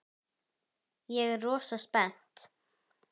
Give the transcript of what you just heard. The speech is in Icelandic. Ég er rosa spennt.